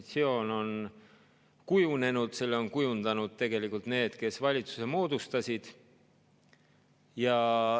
Opositsioon on kujunenud, selle on kujundanud tegelikult need, kes valitsuse moodustasid.